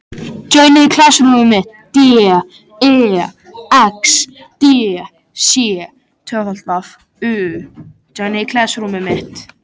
Fyrirmenn staðarins og fylkingar skrautklæddra hermanna fylltu bryggjurnar.